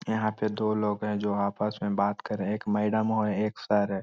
यहां पे दो लोग हैं जो आपस में बात कर रहे हैं एक मैडमो है एक सर है।